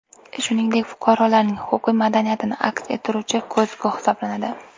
Shuningdek, fuqarolarning huquqiy madaniyatini aks ettiruvchi ko‘zgu hisoblanadi.